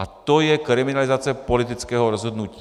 A to je kriminalizace politického rozhodnutí.